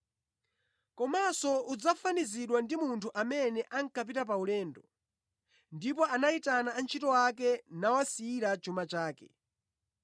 “Komanso udzafanizidwa ndi munthu amene ankapita pa ulendo, ndipo anayitana antchito ake nawasiyira chuma chake.